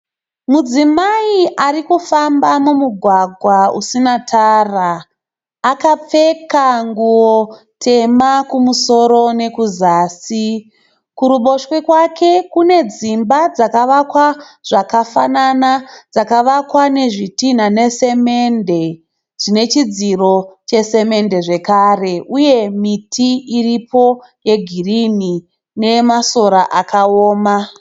Mudzimai ari kufamba mumugwagwa usina tara akapfeka nguwo tema kumusoro nekuzasi. Kuruboshwe kwake kune dzimba dzakavakwa zvakafanana dzakavakwa nezvitinha nesemende zvine chidziro chesemende zvakare, uye miti iripo yegirini nemasora akaoma.